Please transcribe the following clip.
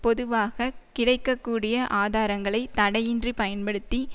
பொதுவாக கிடைக்க கூடிய ஆதாரங்களை தடையின்றி பயன்படுத்தி